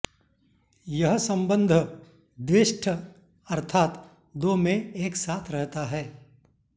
यह सम्बन्ध द्विष्ठ अर्थात् दो में एक साथ रहता है